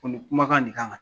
Ko nin kumakan nin kama